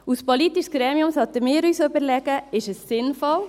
Als politisches Gremium sollten wir uns überlegen: Ist es sinnvoll?